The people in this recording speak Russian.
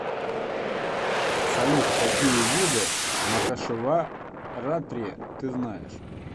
салют какие виды махашиваратри ты знаешь